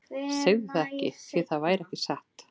Segðu það ekki, því það væri ekki satt.